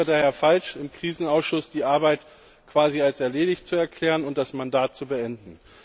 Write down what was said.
Es wäre daher falsch, im Krisenausschuss die Arbeit quasi als erledigt zu erklären und das Mandat zu beenden.